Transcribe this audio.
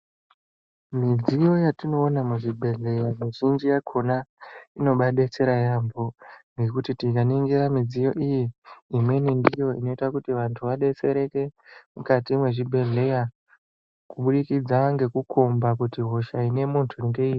Midziyo yatinoona muzvibhedhleya mizhinji yakona inombadetsera yaambo ngekuti tikaningira midziyo iyi imweni ndiyo inoita kuti vantu vabetsereke mukati mwezvibhedhleya kuburikidza ngekukomba kuti hosha ine muntu ngeiri.